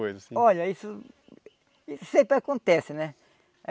Coisa assim... Olha, isso isso sempre acontece, né?